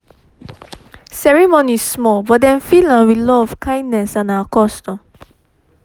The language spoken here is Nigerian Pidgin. ceremony small but dem fill am with love kindness and our custom